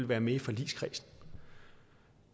være med i forligskredsen